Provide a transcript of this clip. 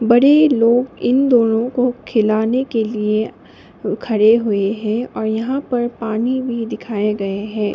बड़े लोग इन दोनों को खिलाने के लिए खड़े हुए हैं और यहां पर पानी भी दिखाए गए है।